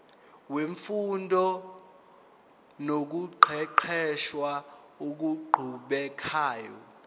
wemfundo nokuqeqesha okuqhubekayo